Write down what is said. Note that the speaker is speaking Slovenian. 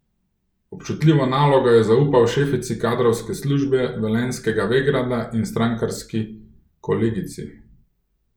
Občutljivo nalogo je zaupal šefici kadrovske službe velenjskega Vegrada in strankarski kolegici.